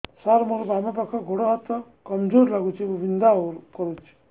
ସାର ମୋର ବାମ ପାଖ ଗୋଡ ହାତ କମଜୁର ଲାଗୁଛି ଏବଂ ବିନ୍ଧା କରୁଛି